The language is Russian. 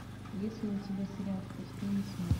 есть ли у тебя сериал в пустыне смерти